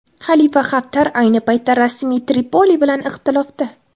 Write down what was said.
Xalifa Haftar ayni paytda rasmiy Tripoli bilan ixtilofda.